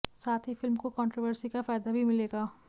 साथ ही फिल्म को कंट्रोवर्सी का फायदा भी मिलेगा